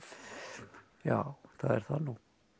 já það er það nú